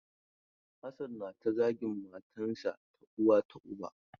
Hassan nata zagin matan sa ta uwa ta uba.